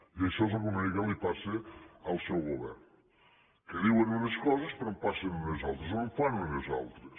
i això és una mica el que li passa al seu govern que diuen unes coses però en passen unes altres o en fan unes altres